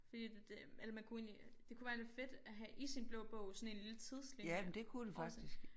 Fordi det eller man kunne egentlig det kunne være lidt fedt at have i sin blå bog sådan en lille tidslinje over det